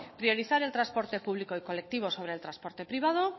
priorizar el transporte público y colectivo sobre el transporte privado